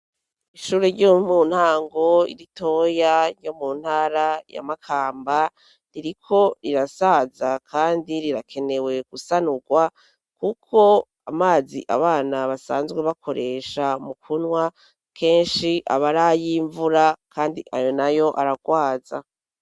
Ishure ryo muntango ritoya ryo mu ntara ya Makamba, ririko rirasaza kandi rirakenewe gusanurwa, kuko amazi abana basanzwe bakoresha mu kunywa kenshi aba ari ay'imvura, kandi ayo nayo aragwaza.